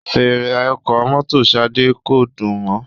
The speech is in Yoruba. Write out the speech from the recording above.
Fèèrè ọkọ̀ mọ́tò Shade ko dùn mò